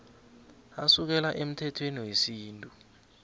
asukela emthethweni wesintu